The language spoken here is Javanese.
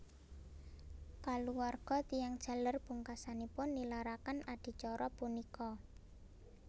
Kaluwarga tiyang jaler pungkasanipun nilaraken adicara punika